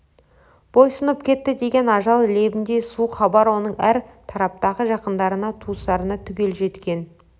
бойсұнып кетті деген ажал лебіндей суық хабар оның әр тараптағы жақындарына туыстарына түгел жеткен